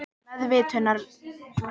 Meðvitundarleysið kemur og hirðir hann.